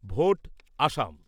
vote Assam